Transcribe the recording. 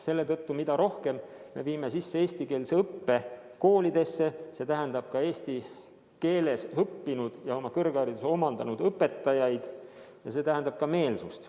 Selle tõttu, mida rohkem me viime koolides sisse eestikeelset õpet, see tähendab ka eesti keeles õppinud ja kõrghariduse omandanud õpetajaid, on ka meelsust.